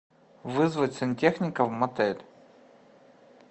вызвать сантехника в мотель